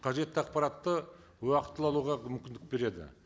қажетті ақпаратты уақытылы алуға мүмкіндік береді